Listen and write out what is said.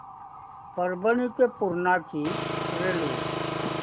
परभणी ते पूर्णा ची रेल्वे